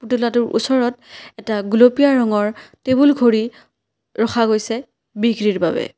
পুতলাটোৰ ওচৰত এটা গুলপীয়া ৰঙৰ টেবুল ঘড়ী ৰখা গৈছে বিক্ৰীৰ বাবে।